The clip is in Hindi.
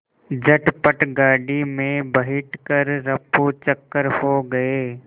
झटपट गाड़ी में बैठ कर ऱफूचक्कर हो गए